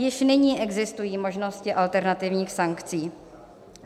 Již nyní existují možnosti alternativních sankcí.